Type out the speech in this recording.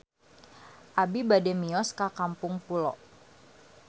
Abi bade mios ka Kampung Pulo